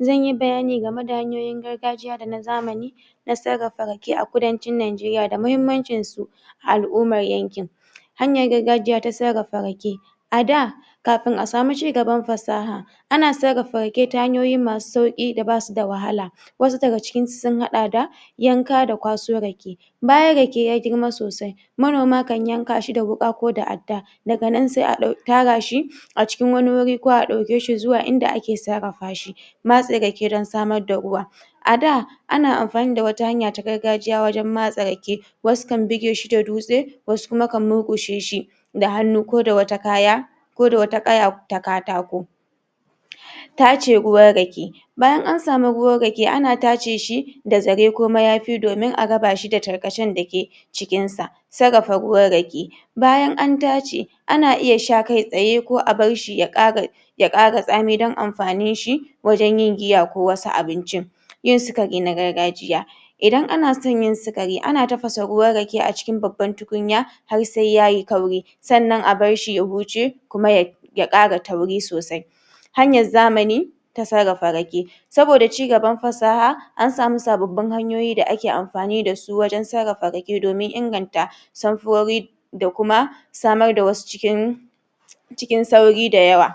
zan yi bayani game da hanyoyin gargajiya da na zamani na sarrafa rake a kudancin Nijeriya da muhimmancin su a al'ummar yankin hanyar gargajiya ta sarrafa rake a da kafin a samu cigaban fasaha a na sarrafa rake ta hanyoyi masu sauƙi da ba su da wahala wasu daga cikinsu sun haɗa da yanka da kwaso rake bayan rake ya girma sosai manoma kan yanka shi da wuƙa ko da adda daga nan sai a? tara shi a cikin wani wuri ko a ɗauke shi zuwa inda za a sarrafa shi matse rake don samar da ruwa a da a na amfani da wata hanya ta gargajiya wajen matse rake wasu kan buge shi da dutse wasu kuma kan murƙushe shi da hannu ko da wata kaya ko da wata ƙaya ta katako tace ruwan rake bayan an samu ruwan rake a na tace shi da zare kuma yafi domin a raba shi da tarkace cikin sa sarrafa ruwan rake bayan an tace a na iya sha kai tsaye ko a bar shi ya ƙara ya ƙara tsami don amfanin shi wajen yin giya ko wani abincin yin sikari na gargajiya idan a na son yin sikari a na tafasa ruwan rake cikin babban tukunya har sai yayi kauri sannan a bar shi ya huce kuma ya ya ƙara tauri sosai hanyar zamani ta sarrafa rake saboda cigaban fasaha an sami sababbin hanyoyi da ake amfani da su? wajen sarrafa rake domin inganta samfurori da kuma amar da wasu cikin cikin sauri da yawa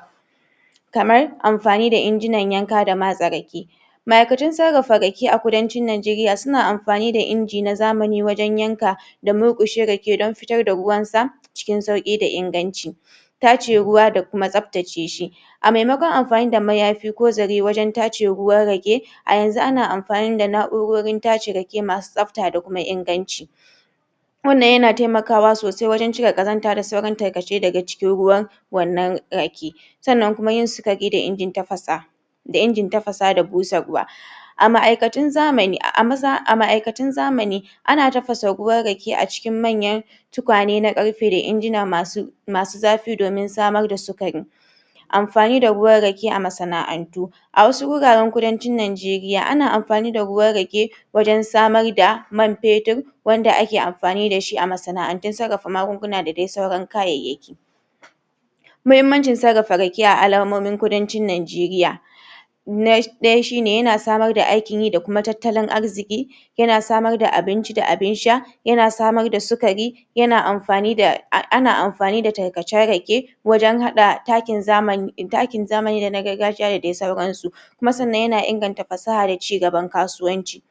kamar amfani da injinan yanka da matse rake ma'aikatun sarrafa rake a kudancin Nijeriya suna amfani da inji na zamani wajen yanka da murƙushe rake don fitar da ruwan sa cikin sauƙi da inganci tace ruwa da kuma tsaftace shi a maimakon amfani da mayafi ko zare wajen tace ruwan rake a yanzu a na amfani da na'urorin tace rake masu tsafta da inganci wannan yana taimakawa sosai wajen cire ƙazanta da sauran tarkace daga cikin ruwan wannan rake sannan yin sikari da injin tafasa da injin tafasa da busarwa a ma'aikatun zamani? a ma'aikatun zamani a na tafasa ruwan rake a cikin manyan tukwane na ƙarfe da injina masu masu zafi domin samar da sikari amfani da ruwan rake a masana'antu a wasu wuraren kudancin Nijeriya a na amfani da ruwan rake wajen samar da man fetur wanda a ke amfani dashi a masana'antun sarrafa magunguna da dai sauran kayayyaki muhimmancin sarrafa rake a alamomin kudancin Nijeriya na ɗaya shine yana samar da aikin yi da kuma tattalin arziki yana samar da abinci da abin sha yana samar da sikari yana amfani da? ana amfani da tarkacen rake wajen haɗa takin zamani takin zamani da na gargajiya da dai sauran su kuma sannan yana inganta fasaha da cigaban kasuwanci